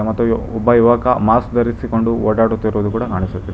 ಮತ್ತು ಒಬ್ಬ ಯುವಕ ಮಾಸ್ಕ್ ಧರಿಸಿಕೊಂಡು ಓಡಾಡುತ್ತಿರುವುದು ಕೂಡ ಕಾಣಿಸುತ್ತಿದೆ.